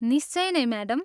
निश्चय नै, म्याडम।